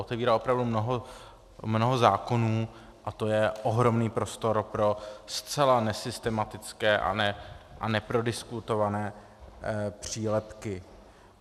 Otevírá opravdu mnoho zákonů a to je ohromný prostor pro zcela nesystematické a neprodiskutované přílepky.